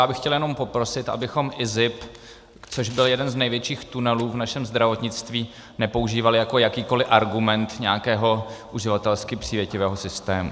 Já bych chtěl jenom poprosit, abychom IZIP, což byl jeden z největších tunelů v našem zdravotnictví, nepoužívali jako jakýkoliv argument nějakého uživatelsky přívětivého systému.